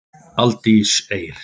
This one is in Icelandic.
Aldís Eir.